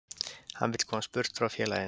Hann vill komast burt frá félaginu.